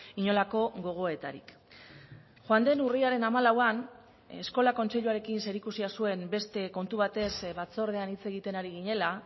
inolako gogoetarik joan den urriaren hamalauan eskola kontseiluarekin zerikusia zuen beste kontu batez batzordean hitz egiten ari ginela